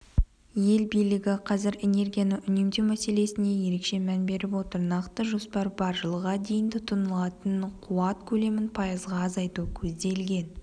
ел билігі қазір энергияны үнемдеу мәселесіне ерекше мән беріп отыр нақты жоспар бар жылға дейін тұтынылатын қуат көлемін пайызға азайту көзделген